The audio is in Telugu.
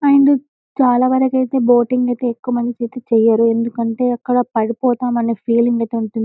అండ్ చాలా వరకు అయితే బోటింగ్ అయితే ఎక్కువమంది చేయరు ఎందుకంటే అక్కడ పడిపోతారేమో అనే ఫీలింగ్ అయితే ఉంటుంది.